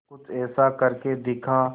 कुछ ऐसा करके दिखा